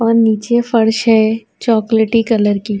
اور نیچے فرش ہے، چوکولٹی کلر کی --